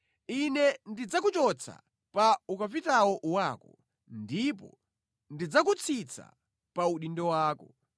Ine ndidzakuchotsa pa ukapitawo wako ndipo ndidzakutsitsa pa udindo wako.